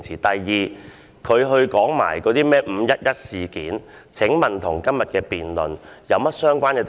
第二，他說甚麼"五一一事件"，請問與今天的辯論有何相關之處？